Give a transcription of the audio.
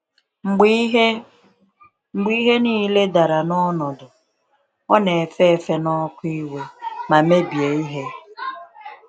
Mgbe ihe Mgbe ihe niile dara n’ọnọdụ, ọ na-efe efe n’ọkụ iwe ma mebie ihe.